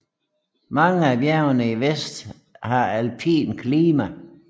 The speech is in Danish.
Mange af bjergene i vest har alpint klima